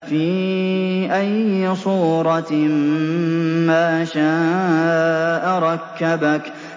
فِي أَيِّ صُورَةٍ مَّا شَاءَ رَكَّبَكَ